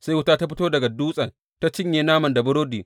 Sai wuta ta fito daga dutsen ta cinye naman da burodin.